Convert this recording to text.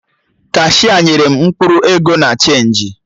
Kashia nyere m mkpụrụ ego na chenji